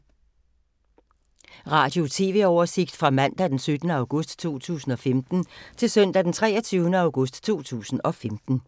Radio/TV oversigt fra mandag d. 17. august 2015 til søndag d. 23. august 2015